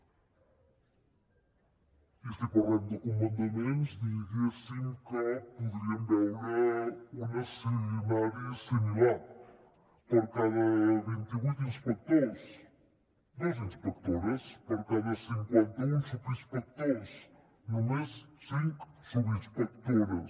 i si parlem de comandaments diguéssim que podríem veure un escenari similar per cada vint i vuit inspectors dues inspectores per cada cinquanta un subinspectors només cinc subinspectores